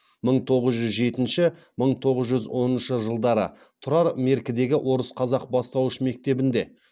мың тоғыз жүз жетінші мың тоғыз жүз оныншы жылдары тұрар меркідегі орыс қазақ бастауыш мектебінде